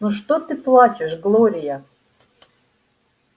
ну что ты плачешь глория